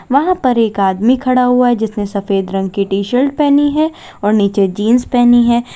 वहां पर एक आदमी खड़ा हुआ है जिसने सफेद रंग की टी शर्ट पहनी है और नीचे जींस पहनी है।